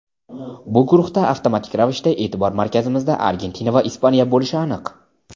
Bu guruhda avtomatik ravishda e’tibor markazimizda Argentina va Ispaniya bo‘lishi aniq.